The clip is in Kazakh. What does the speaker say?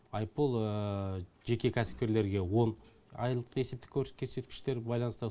айыппұл жеке кәсіпкерлерге он айлық есептік көрсеткіштерге байланысты